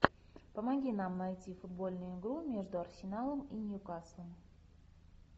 помоги нам найти футбольную игру между арсеналом и ньюкаслом